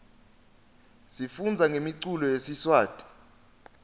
sifundza ngemiculo yesiswati